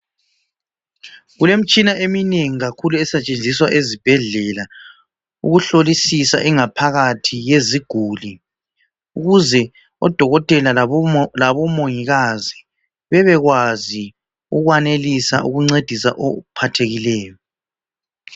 Kulemitshina eminengi kakhulu esetshenziswa ezibhedlela ukuhlolisisa ingaphakathi yeziguli ukuze odokotela labomongikazi bebekwazi ukwanelisa ukuncedisa ophathekileyo